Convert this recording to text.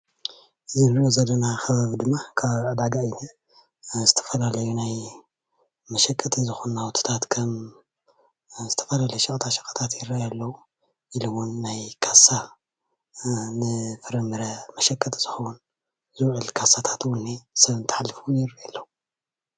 እዚ እንሪኦ ዘለና ከባቢ ድማ ከባቢ ዕዳጋ እዩ ዝንሄ፡፡ ዝተፈላለዩ ናይ መሸቀጢ ዝኮኑ ናውትታት ከም ዝተፈላለዩ ሸቀጣ ሸቀጥ ይረአዩ ኣለዉ ኢሉ እውን ናይ ካሰ ንፍራምረ መሸቀጢ ዝከውን ዝውዕል ካሳታት እውን እኒሀ ሰብ እንትሓልፍ እዉን ይረአዩ ኣለዉ፡፡